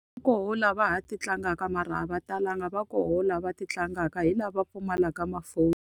Va kona laha va ha ti tlangaka mara a va talanga. Va kona va ti tlangaka, hi lava pfumalaka tifoni.